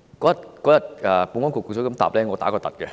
那天在得到保安局局長如此答覆後，我十分驚訝，